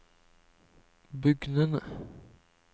bugnende